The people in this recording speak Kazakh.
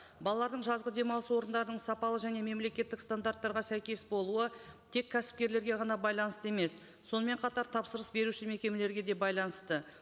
балалардың жазғы демалыс орындарының сапалы және мемлекеттік стандарттарға сәйкес болуы тек кәсіпкерлерге ғана байланысты емес сонымен қатар тапсырыс беруші мекемелерге де байланысты